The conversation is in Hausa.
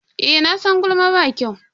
Eh, nasan gulma ba kyau.